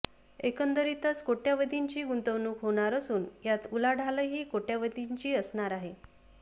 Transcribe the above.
एकंदरीतच कोट्यवधींची गुंतवणूक होणार असून यात उलाढालही कोट्यवधींची असणार आहे